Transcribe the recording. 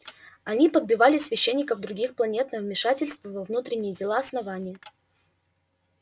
они подбивали священников других планет на вмешательство во внутренние дела основания